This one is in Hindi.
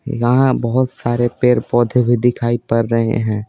यहाँ बहुत सारे पेड़ पौधे भी दिखाई पर रहे हैं।